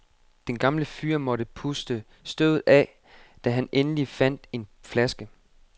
Den gamle fyr måtte puste støvet af, da han endelig fandt en flaske.